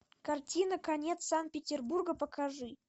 картина конец санкт петербурга покажи